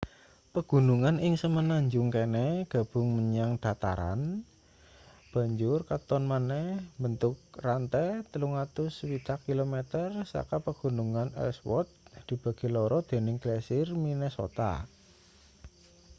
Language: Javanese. pegunungan ing semenanjung kene gabung menyang dataran banjur katon maneh mbentuk rante 360 km saka pegunungan ellsworth dibagi loro dening glasier minnesota